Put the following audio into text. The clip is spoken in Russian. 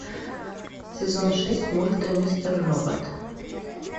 сезон шесть мульта мистер робот